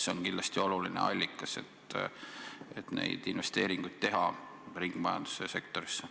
See on kindlasti oluline allikas, et teha investeeringuid ringmajanduse sektorisse.